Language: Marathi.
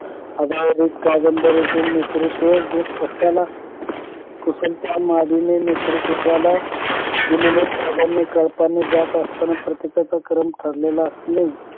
कादंबरीतील नेतृत्व गोक कशाला कुशलता मधून नेतृत्वाला दिलेल्या त्यागाने कळपाने जात असताना प्रत्येकाचा क्रम ठरलेला असणे